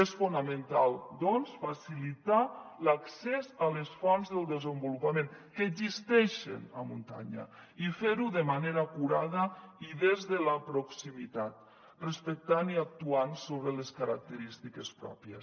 és fonamental doncs facilitar l’accés a les fonts del desenvolupament que existeixen a muntanya i fer ho de manera acurada i des de la proximitat respectant i actuant sobre les característiques pròpies